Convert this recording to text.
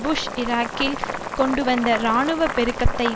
push ஈராக்கில் கொண்டுவந்த இராணுவ பெருக்கத்தை